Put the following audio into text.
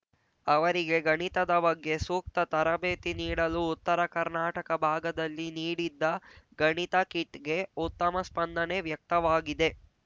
ಅವರಿಗೆ ಗಣಿತದ ಬಗ್ಗೆ ಸೂಕ್ತ ತರಬೇತಿ ನೀಡಲು ಉತ್ತರ ಕರ್ನಾಟಕ ಭಾಗದಲ್ಲಿ ನೀಡಿದ್ದ ಗಣಿತ ಕಿಟ್‌ಗೆ ಉತ್ತಮ ಸ್ಪಂದನೆ ವ್ಯಕ್ತವಾಗಿದೆ